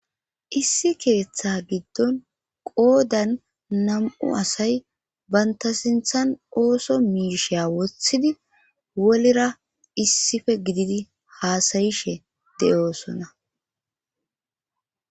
issi keeththa giddon qoodan nam7u asay banta sinthan ooso miisheya woththidi wolira issife gididi haasayishe de7oosonna